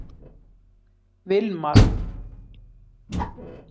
Vilmar